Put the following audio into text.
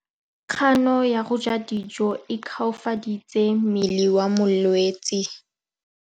Kganô ya go ja dijo e koafaditse mmele wa molwetse.